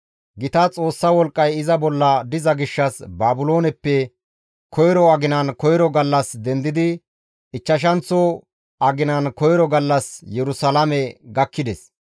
Gita Xoossa wolqqay iza bolla diza gishshas Baabilooneppe koyro aginan koyro gallas dendidi ichchashanththo aginan koyro gallas Yerusalaame gakkides.